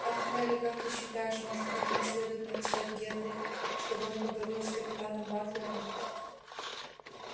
ах мелли как ты считаешь может быть мне следует написать генри чтобы он поговорил с капитаном батлером